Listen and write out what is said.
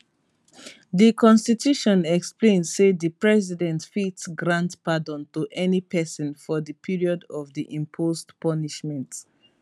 di constitution explain say di president fit grant pardon to any person for di period of di imposed punishment